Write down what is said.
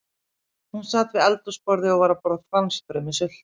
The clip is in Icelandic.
Hún sat við eldhúsborðið og var að borða franskbrauð með sultu.